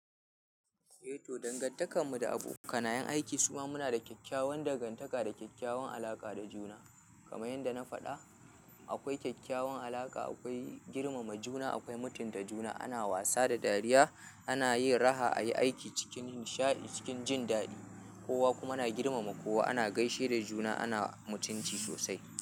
Danganta kar mu da abokanayen aiki suma muna da kyakyawar danganta ka da kyakyawan alaƙa da juna. Kamar yadda na faɗa, akwai kyakkyawan alaƙa, akwai girmama juna, akwai mutunta juna, ana wasa da dariya, ana yin raha, ayi aiki cikin nishaɗi, cikin jin daɗi. Kowa kuma na girmama kowa, ana gaishe da juna, ana mutunci sosai.